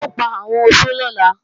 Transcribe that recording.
Wọn ò pa àwọn oṣó lọ́la